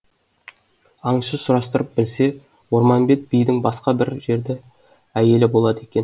аңшы сұрастырып білсе орманбет бидің басқа бір жерді әйелі болады екен